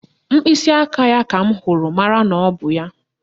Mkpịsịaka ya ka m hụrụ mara na ọ bụ ya